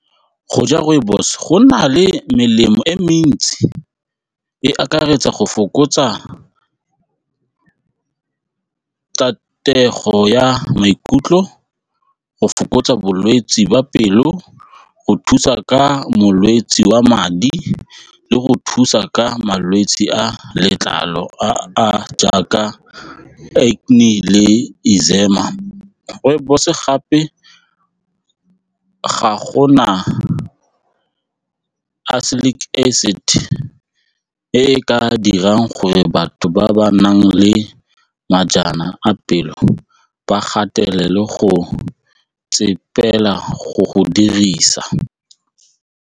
Go ja rooibos go na le melemo e mentsi e akaretsa go fokotsa ya maikutlo, go fokotsa bolwetse jwa pelo, go thusa ka molwetsi wa madi le go thusa ka malwetse, a letlalo a jaaka acne le eczema gore rooibos gape ga go na acid e e ka dirang gore batho ba ba nang le a pelo ba gatelele go go go dirisa.